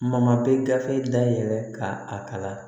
Mama bɛ gafe dayɛlɛ ka a kalan